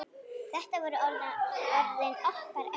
Þetta voru orðin okkar ömmu.